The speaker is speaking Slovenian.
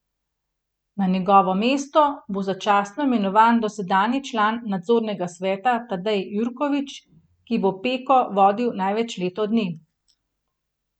Na njegovo mesto bo začasno imenovan dosedanji član nadzornega sveta Tadej Jurkovič, ki bo Peko vodil največ leto dni.